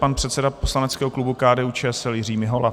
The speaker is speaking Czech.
Pan předseda poslaneckého klubu KDU-ČSL Jiří Mihola.